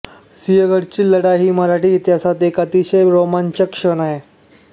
सिंहगडाची लढाई ही मराठी इतिहासात एक अतिशय रोमांचक क्षण आहे